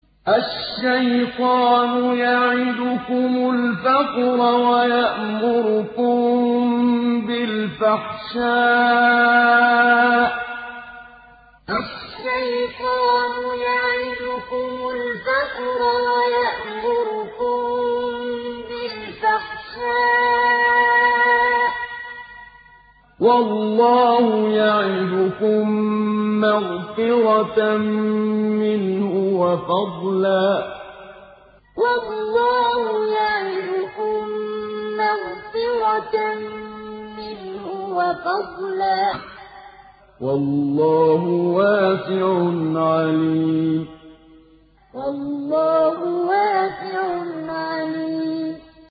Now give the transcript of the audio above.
الشَّيْطَانُ يَعِدُكُمُ الْفَقْرَ وَيَأْمُرُكُم بِالْفَحْشَاءِ ۖ وَاللَّهُ يَعِدُكُم مَّغْفِرَةً مِّنْهُ وَفَضْلًا ۗ وَاللَّهُ وَاسِعٌ عَلِيمٌ الشَّيْطَانُ يَعِدُكُمُ الْفَقْرَ وَيَأْمُرُكُم بِالْفَحْشَاءِ ۖ وَاللَّهُ يَعِدُكُم مَّغْفِرَةً مِّنْهُ وَفَضْلًا ۗ وَاللَّهُ وَاسِعٌ عَلِيمٌ